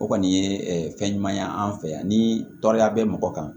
O kɔni ye fɛn ɲuman ye an fɛ yan ni tɔɔrɔya bɛ mɔgɔ kan